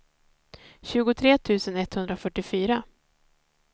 tjugotre tusen etthundrafyrtiofyra